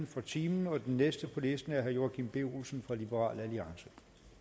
for timen og den næste på listen er herre joachim b olsen fra liberal alliance